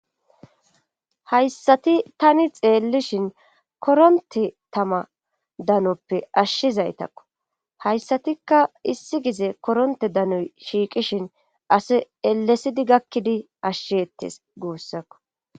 Hayssati tani xeellishin koronte tama danoppe ashshizaytakko hayssatikka issi gize koronte danoy shiiqishin asi elesidi gakkidi ashshiettes guussakko.